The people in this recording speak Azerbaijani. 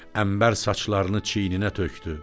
Əmbər saçlarını çiyninə tökdü.